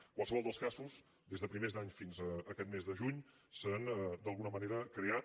en qualsevol dels casos des de primers d’any fina a aquest mes de juny s’han d’alguna manera creat